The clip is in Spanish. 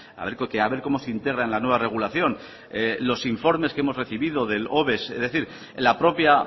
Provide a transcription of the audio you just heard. a ver cómo se integra en la nueva regulación los informes que hemos recibido del la propia